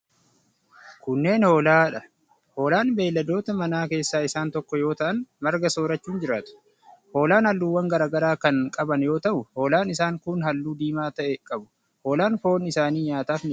Kunneen ,hoolaa dha. Hoolaan beeyiladoota manaa keessaa isaan tokko yoo ta'an, marga soorachuun jiraatu. Hoolaan haalluuwwan garaa garaa kan qaban yoo ta'u, hoolaan isaan kun haalluu diimaa ta'e qabu. Hoolaan foon isaanii nyaataf ni oola.